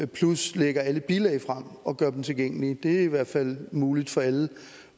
plus lægger alle bilag frem og gør dem tilgængelige det er i hvert fald muligt for alle